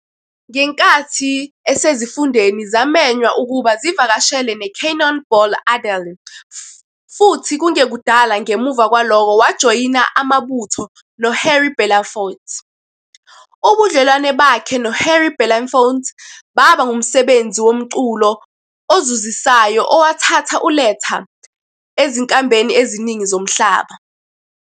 Ngenkathi esezifundeni zamenywa ukuba zivakashele neCannonball Adderly futhi kungekudala ngemuva kwalokho wajoyina amabutho noHarry Belafonte. Ubudlelwano bakhe noHarry Belafonte baba ngumsebenzi womculo ozuzisayo owathatha uLetta ezinkambeni eziningi zomhlaba.